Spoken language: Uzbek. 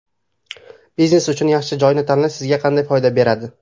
Biznes uchun yaxshi joyni tanlash sizga qanday foyda beradi?